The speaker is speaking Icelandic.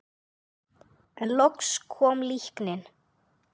En loks kom líknin.